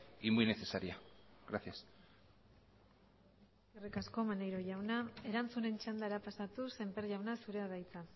y muy necesaria gracias eskerrik asko maneiro jauna erantzunen txandara pasatuz semper jauna zurea da hitza